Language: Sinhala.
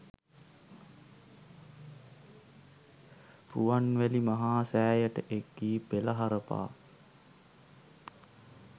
රුවන්වැලි මහා සෑයට එක්වී පෙළහර පා